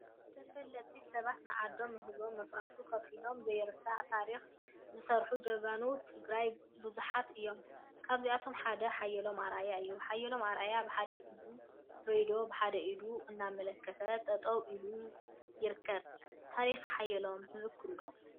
ተፈለጥቲ ሰባት ንዓዶምን ንህዝቦምን መስዋቲ ከፊሎም ዘይርሳዕ ታሪክ ዝሰርሑ ጀጋኑ ትግራይ ቡዙሓት እዮም፡፡ ካብዚአቶም ሓደ ሓየሎም አርአያ እዩ፡፡ ሓየሎም አርአያ ብሓደ ኢዱ ሬድዮ ብሓደ ኢዱ እናመላከተ ጠጠው ኢሉ ይርከብ፡፡ ታሪክ ሓየሎም ትዝክሩ ዶ?